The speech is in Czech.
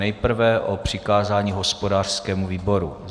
Nejprve o přikázání hospodářskému výboru.